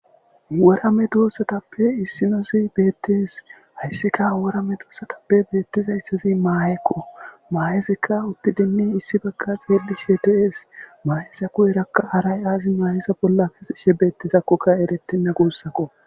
Wora medosatappe issinazi beetesi haysika wora medosatappe beetizaysazi maaheko, mahezika utidinne issi Baga xeelishe de'es, maheza guyeraka haray azi maheza bolla kezishe dizakoka eretena guusako.